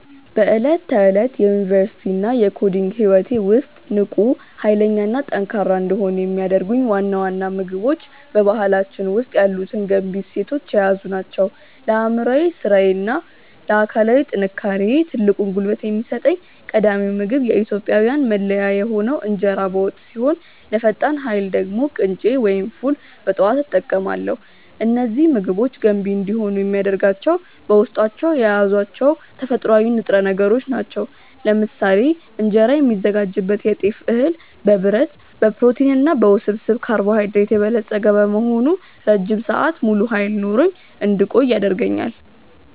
በዕለት ተዕለት የዩኒቨርሲቲ እና የኮዲንግ ህይወቴ ውስጥ ንቁ፣ ኃይለኛ እና ጠንካራ እንድሆን የሚያደርጉኝ ዋና ዋና ምግቦች በባህላችን ውስጥ ያሉትን ገንቢ እሴቶች የያዙ ናቸው። ለአእምሯዊ ስራዬ እና ለአካላዊ ጥንካሬዬ ትልቁን ጉልበት የሚሰጠኝ ቀዳሚው ምግብ የኢትዮጵያዊያን መለያ የሆነው እንጀራ በወጥ ሲሆን፣ ለፈጣን ኃይል ደግሞ ቅንጬ ወይም ፉል በጠዋት እጠቀማለሁ። እነዚህ ምግቦች ገንቢ እንዲሆኑ የሚያደርጋቸው በውስጣቸው የያዟቸው ተፈጥሯዊ ንጥረ ነገሮች ናቸው። ለምሳሌ እንጀራ የሚዘጋጅበት የጤፍ እህል በብረት፣ በፕሮቲን እና በውስብስብ ካርቦሃይድሬት የበለጸገ በመሆኑ ረጅም ሰዓት ሙሉ ኃይል ኖሮኝ እንድቆይ ያደርገኛል።